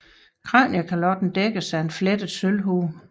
Kraniekalotten dækkedes af en flettet sølvhue